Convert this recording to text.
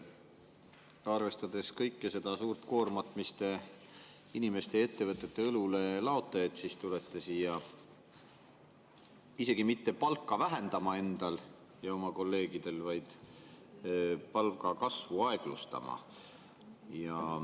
Te laote inimeste ja ettevõtete õlule suure koorma, aga samas tulete siia endal ja oma kolleegidel mitte palka vähendama, vaid palgakasvu aeglustama.